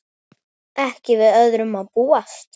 Ekki við öðru að búast!